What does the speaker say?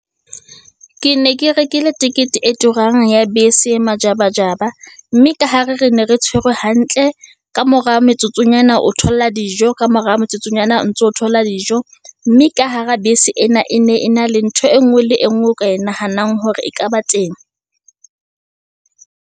Ke ne ke rekile tikete e turang ya bese e majabajaba, mme ka hare re ne re tshwerwe hantle, ka mora metsotsonyana, o thola dijo ka mora metsotsonyana, o ntso o thola dijo. Mme ka hara bese ena, e ne e na le ntho e nngwe le e nngwe o ka e nahanang hore e ka ba teng.